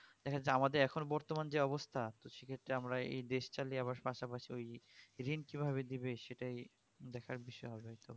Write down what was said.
আমাদের বর্তমান যে অবস্থা সেক্ষেত্রে আমরা এই দেশ চালিয়ে আবার পাশাপাশি ঋণ কিভাবে দিবে সেটাই দেখার বিষয় হবে একটূ